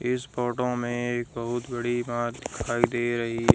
इस फोटो एक बहुत बड़ी बांध दिखाई दे रही--